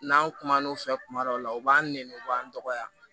N'an kumana o fɛ kuma dɔw la u b'an nɛni u b'an dɔgɔya